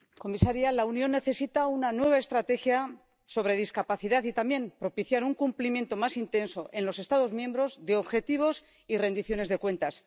Señor presidente, comisaria, la Unión necesita una nueva estrategia sobre discapacidad y también propiciar un cumplimiento más intenso en los Estados miembros de objetivos y rendiciones de cuentas.